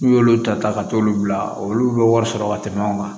N'u y'olu ta ka t'olu bila olu bɛ wari sɔrɔ ka tɛmɛ anw kan